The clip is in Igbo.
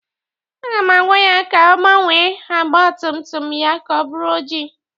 Aga m agwa ya ka ọ gbanwee agba ntutu ya ka ọ bụrụ oji